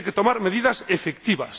Tienen que tomarse medidas efectivas.